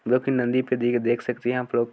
जो की नदी फदी को देख सकते है आप लोग --